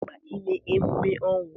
Ọ dị mkpa ime emume ọnwụ.